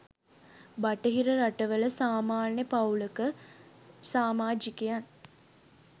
බටහිර රටවල සමාන්‍ය පවූලක සමාජිකයන්